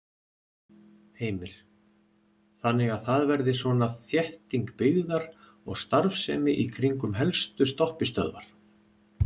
Heimir: Þannig að það verði svona þétting byggðar og starfsemi í kringum helstu stoppistöðvar?